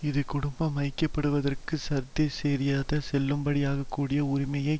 இது குடும்பம் ஐக்கியப்படுவதற்கு சர்வதேசரீதியாக செல்லுபடியாகக்கூடிய உரிமையை